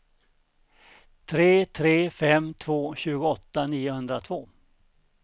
tre tre fem två tjugoåtta niohundratvå